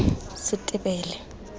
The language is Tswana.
setebele